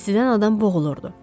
İstidən adam boğulurdu.